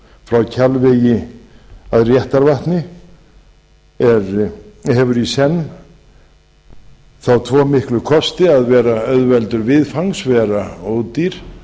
frá kjalvegi að réttarvatni hefur í senn þá tvo miklu kosti að vera auðveldur viðfangs vera ódýr